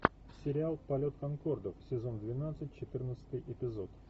сериал полет конкордов сезон двенадцать четырнадцатый эпизод